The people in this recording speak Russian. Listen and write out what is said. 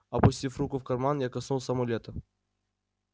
опустив руку в карман я коснулся амулета